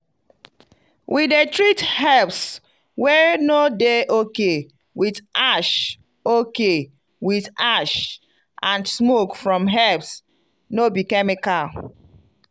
we dey treat herbs wey no dey okay with ash okay with ash and smoke from herbs no be chemical.